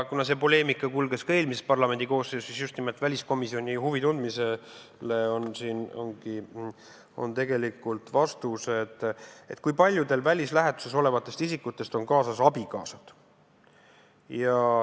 Kuna see poleemika kulges ka eelmises parlamendikoosseisus, siis just nimelt vastuseks väliskomisjoni huvi tundmisele ongi siin vastused, kui paljudel välislähetuses olevatest isikutest on kaasas abikaasad.